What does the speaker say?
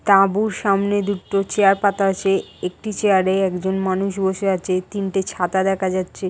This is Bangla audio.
তাঁবুর সামনে দুটো চেয়ার পাতা আছে একটি চেয়ার -এ একজন মানুষ বসে আছে তিনটে ছাতা দেখা যাচ্ছে--